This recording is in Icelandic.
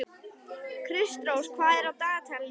Kristrós, hvað er á dagatalinu í dag?